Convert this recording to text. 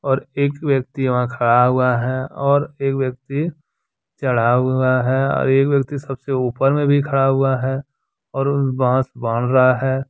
और एक व्यक्ति वहां खड़ा हुआ है और एक व्यक्ति चढ़ा हुआ है और एक व्यक्ति सबसे ऊपर में भी खड़ा हुआ है और बांस बान रहा है।